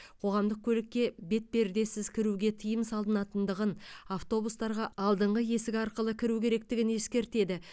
қоғамдық көлікке бетпердесіз кіруге тыиым салынатындығын автобустарға алдыңғы есік арқылы кіру керектігін ескертеді